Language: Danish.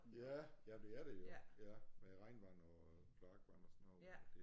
Ja jamen det er det jo ja med regnvand og kloakvand og sådan noget